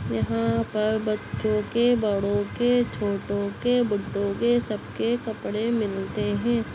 यहाँ पर बच्चो के बड़ों के छोटो के बुड्ढों के सबके कपड़े मिलते हैं।